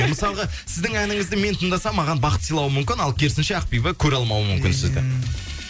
мысалға сіздің әніңізді мен тыңдасам маған бақыт сыйлауы мүмкін ал керісінше ақбибі көреалмауы мүмкін сізді ммм